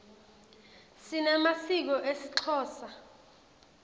sinemasiko esixhosa